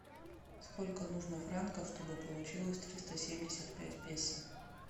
сколько нужно франков чтобы получилось триста семьдесят пять песо